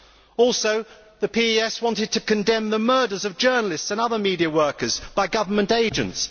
The PSE also wanted to condemn the murders of journalists and other media workers by government agents.